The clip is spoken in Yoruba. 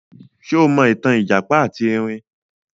Ṣé o mọ ìtàn ìjàpá ati Ẹrin?